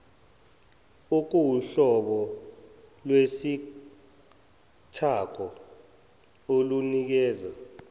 okuwuhlobo lwesithako olunikeza